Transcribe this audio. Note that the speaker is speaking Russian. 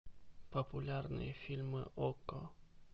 популярные фильмы окко